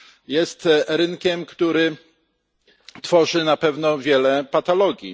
jest rynkiem, który tworzy na pewno wiele patologii.